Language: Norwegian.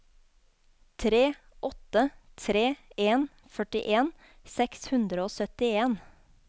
tre åtte tre en førtien seks hundre og syttien